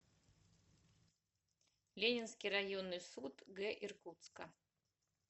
ленинский районный суд г иркутска